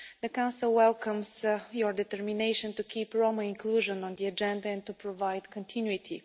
The Council welcomes your determination to keep Roma inclusion on the agenda and to provide continuity.